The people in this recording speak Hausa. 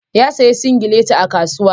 Ya sayo singileti a kasuwa.